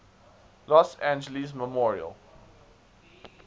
los angeles memorial